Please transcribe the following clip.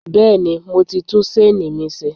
Bẹ́ẹ̀ni, mo ti tún ṣéènì mi ṣe.